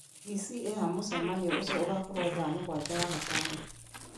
d.c. ĩha mũcemanio ũcio ũgakorwo thaa mũgwanja wagatano